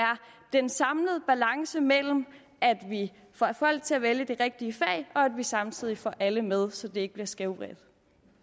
en samlet balance mellem at vi får folk til at vælge de rigtige fag og at vi samtidig får alle med så det ikke bliver skævvredet